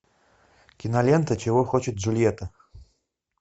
кинолента чего хочет джульетта